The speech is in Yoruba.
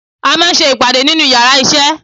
À máà ń sé ìpade nínu íyarà iṣẹ